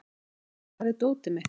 Nikolai, hvar er dótið mitt?